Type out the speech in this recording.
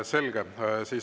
Selge.